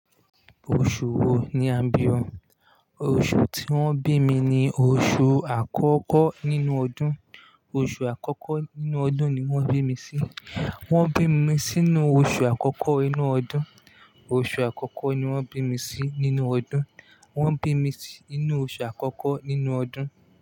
Oṣù wo ni a bí o? Oṣù tí wọ́n bí mi ni oṣù àkọ́kọ́ nínú ọdún. Oṣù àkọ́kọ́ nínú ọdún ni wọ́n bí mi sí. Wọ́n bí mi sínú oṣù àkọ́kọ́ inú ọdún. Oṣù àkọ́kọ́ ni wọ́n bí mi sí nínú ọdún. Wọ́n bí mi sí inú oṣù àkọ́kọ́ nínú ọdún.